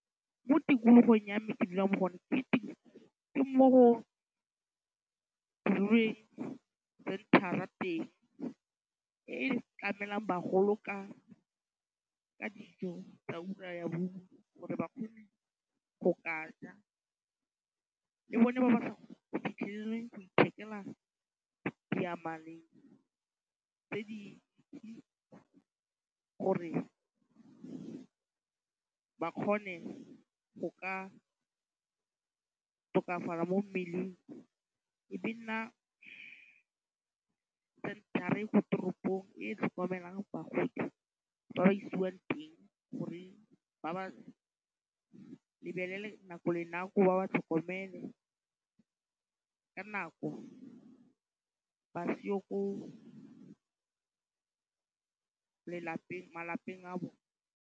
Mo tikologong ya me ke dulang mo go yone, ke mo go centre-ra teng. E e tlamelang bagolo ka ka dijo tsa ura ya bongwe gore ba kgone go ka ja. Ke bone ba ba sa kgoneng go fitlhelele go ithekela diyamaleng tse di gore ba kgone go ka tokafala mo mmeleng. E be nna center-a e ko toropong e e tlhokomelang bagodi ba ba isiwang teng gore ba ba lebelele nako le nako, ba ba tlhokomele ka nako, ba sio ko malapeng a bone.